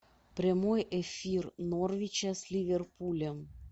прямой эфир норвича с ливерпулем